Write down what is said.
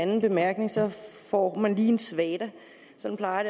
anden bemærkning så får man lige en svada sådan plejer